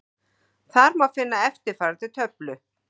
Þar má finna eftirfarandi töflu: